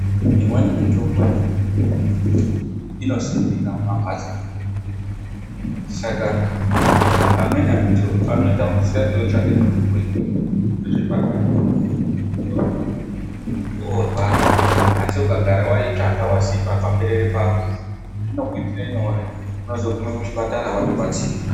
Imweni mitombo inosimika mumamhatso. Saka amweni antu anotambudzika ngekutsvake mitombo iri muzvibhedhlera, kuzorumba rumba ,muntu worwara. Asi ukagara waitsvaka, wasima paberere pako, zvinokuitire nyore. Unozoguma kuchibhedhlera watodetsereka.